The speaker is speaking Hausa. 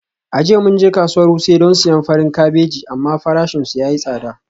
A jiya mun je kasuwar wuse don siyan farin kabeji amma farashinsu ya yi tsada.